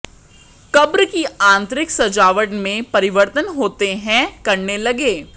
कब्र की आंतरिक सजावट में परिवर्तन होते हैं करने लगे